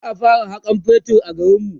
za'a fara Hakan man fetur a garinmu